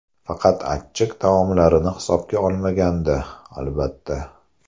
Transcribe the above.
Faqat achchiq taomlarini hisobga olmaganda, albatta.